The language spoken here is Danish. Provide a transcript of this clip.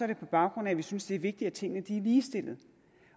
det på baggrund af at vi synes det er vigtigt at tingene er ligestillet